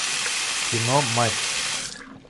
кино матч